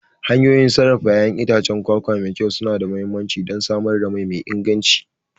Hanyoyin sarrafa ƴaƴan itacen kwakwa mai kyau suna da mahimmanci don samar da mai me inganci.